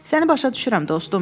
Səni başa düşürəm, dostum.